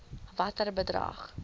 watter bedrag